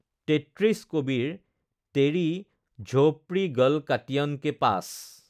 ৩৩ কবীৰ তেৰী ঝোপ্ ৰী গল কাটিয়ন কে পাচ্